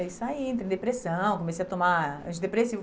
Aí saí, entrei em depressão, comecei a tomar antidepressivo.